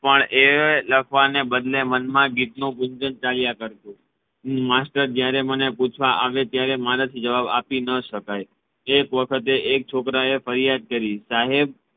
પણ એ લખવાને બદલે મનમા ગીતનુ ગુંજન ચાલ્યા કરતુ માસ્ટર જયારે મને પૂછવા આવે ત્યારે મરાથી જવાબ આપી ન શકાય એક વખતે એક છોકરાએ ફરિયાદ કરી સાહેબ